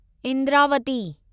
Indravati